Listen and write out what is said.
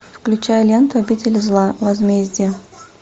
включай ленту обитель зла возмездие